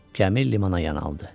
Gəmi limana yan aldı.